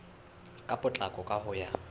ka potlako ka ho ya